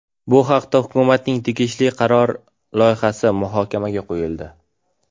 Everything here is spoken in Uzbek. Bu haqda hukumatning tegishli qarori loyihasi muhokamaga qo‘yildi .